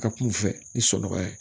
Ka kuma u fɛ ni sɔkɔ ye